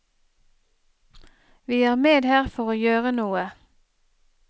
Vi er med her for å gjøre noe.